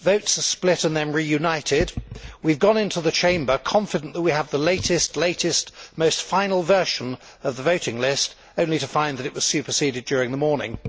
votes are split and then reunited we have gone into the Chamber confident that we have the latest, most final version of the voting list, only to find that it was superseded during the morning.